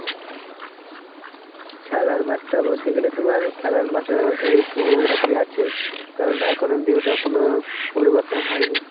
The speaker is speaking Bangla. খেলার মাঠটা বলতে গেলে তোমার খেলার মাঠটা ওই~ ওই রকমই আছে. কারণ এখন অব্দি ওটার কোন পরিবর্তন হয় নি.